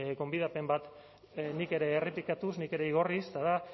gonbidapen bat nik ere errepikatuz nik ere igorriz eta da